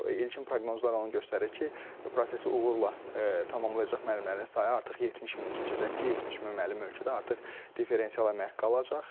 İlkin proqnozlar onu göstərir ki, prosesi uğurla tamamlayacaq müəllimlərin sayı artıq 70 mini keçəcək ki, 70 min müəllim ölkədə artıq differensial əmək haqqı alacaq.